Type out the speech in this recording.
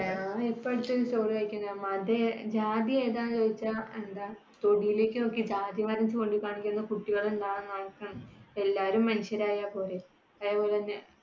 ഇപ്പോഴത്തെ ഒരു മതെതാ? ജാതി ഏതാണ് ചോദിച്ച എന്താ തൊടിലേക്ക് നോക്കി ജാതിമരം ചൂണ്ടിക്കാണിക്കുന്ന അവസ്ഥ. എല്ലാവരും മനുഷ്യരായ പോരേ. അതേപോലെതന്നെ